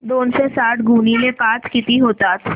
दोनशे साठ गुणिले पाच किती होतात